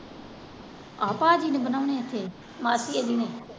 ਆਹ ਭਾਜੀ ਨੇ ਬਣਾਉਣੇ ਇਥੇ ਮਾਸੀ ਇਹਦੀ ਨੇ।